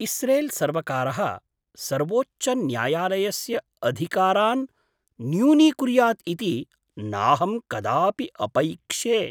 इस्रेल्सर्वकारः सर्वोच्चन्यायालयस्य अधिकारान् न्यूनीकुर्यात् इति नाहं कदापि अपैक्षे।